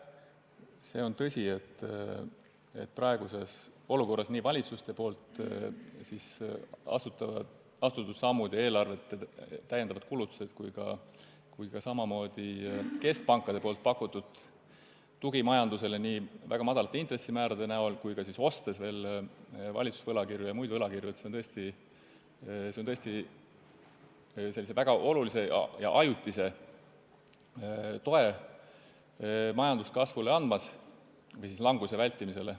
See on tõsi, et praeguses olukorras on nii valitsuste astutud sammud ja eelarvete täiendavad kulutused kui ka keskpankade pakutud tugi majandusele väga madalate intressimäärade näol ning valitsuste ja muude võlakirjade ostmise kaudu tõesti andmas sellist väga olulist ajutist tuge majanduskasvule või languse vältimisele.